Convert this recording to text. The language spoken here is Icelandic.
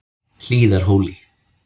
Hlíðarhóli